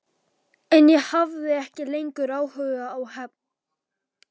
En ég hafði ekki lengur áhuga á hefnd.